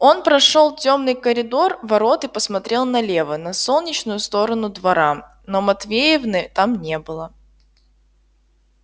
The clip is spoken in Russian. он прошёл тёмный коридор ворот и посмотрел налево на солнечную сторону двора но матвеевны там не было